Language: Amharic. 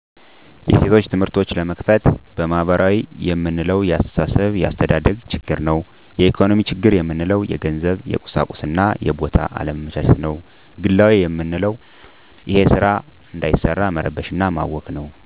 የሴቶች ትምህርቶች ለመክፈት በማህበራዊ የምንለው የአስተሳሰብ የአስተዳደግ ችግር ነው የኢኮኖሚ ችግር ምንለው የገንዘብ የቁሳቁስና የቦታ አለመመቻቸት ነዉ ግላዊ መንለዉ እሄ ስራ እንዳይሰራ መረበሽ እና ማወክ ነው